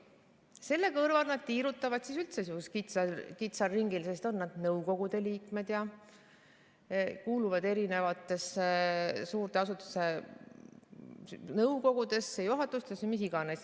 Selle kõrval nad tiirutavad üldse kitsal ringil, sest nad on nõukogude liikmed, kuuluvad suurte asutuste nõukogudesse, juhatustesse või mis iganes.